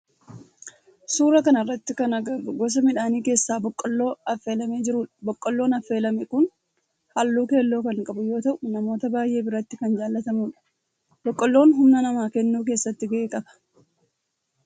Suuraa kana irratti kan agarru gosa midhaanii keessaa boqqoolloo affelamee jirudha. Boqqoolloon affeelame kun halluu keelloo kan qabu yoo ta'u namoota baayyee biratti kan jaalatamudha. Boqqoolloon humna namaa kennuu keessatti gahee qaba.